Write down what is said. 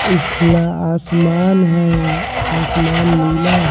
और खुला आसमान है आसमान नीला--